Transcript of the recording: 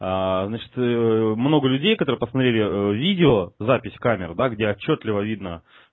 аа значит много людей которые посмотрели видео запись камер да где отчётливо видно